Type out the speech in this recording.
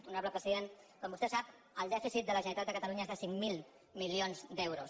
honorable president com vostè sap el dèficit de la generalitat de catalunya és de cinc mil milions d’euros